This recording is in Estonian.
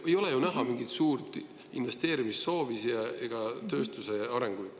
Ei ole ju näha mingit suurt investeerimissoovi ega tööstuse arenguid.